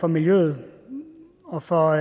miljøet og for